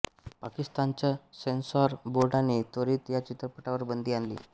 पाकिस्तानच्या सेन्सॉर बोर्डाने त्वरित या चित्रपटावर बंदी आणली